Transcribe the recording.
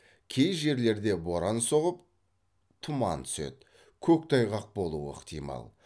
кей жерлерде боран соғып тұман түседі көктайғақ болуы ықтимал